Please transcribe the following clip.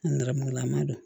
An nɛrɛmugulaman don